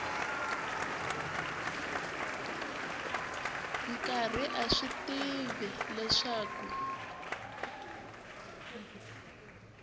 karhi a swi tiva leswaku